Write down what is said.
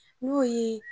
N'o ye